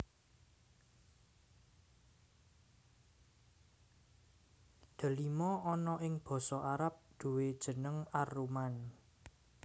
Delima ana ing basa Arab duwè jeneng ar rumman